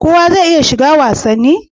Kowa zai iya shiga wasanni?